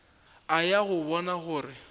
a ya go bona gore